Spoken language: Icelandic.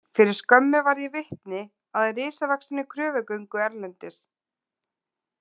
Fyrir skömmu varð ég vitni að risavaxinni kröfugöngu erlendis.